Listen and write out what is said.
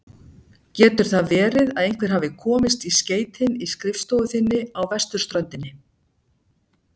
Getur það verið að einhver hafi komist í skeytin í skrifstofu þinni á vesturströndinni?